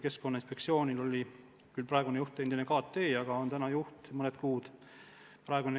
Keskkonnainspektsioonil oli küll praegune juht endine kohusetäitja, aga nüüd on ta mõned kuud juba juht olnud.